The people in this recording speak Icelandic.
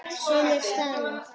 Sumir staðna.